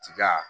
Tiga